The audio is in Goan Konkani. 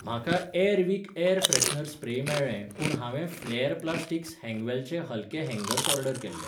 म्हाका एअरविक एयर फ्रेशनर स्प्रे मेळ्ळें पूण हांवें फ्लॅर प्लास्टिक्स हँगवेलचे हलके हँगर्स ऑर्डर केल्लें.